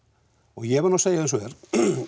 ég verð nú að segja eins og er